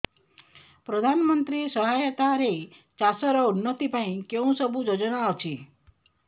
ପ୍ରଧାନମନ୍ତ୍ରୀ ସହାୟତା ରେ ଚାଷ ର ଉନ୍ନତି ପାଇଁ କେଉଁ ସବୁ ଯୋଜନା ଅଛି